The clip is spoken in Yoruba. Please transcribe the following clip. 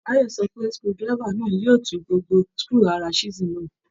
Báyọ̀ sọ pé screwdriver náà yóò tú gbogbo screw ara chiesel náà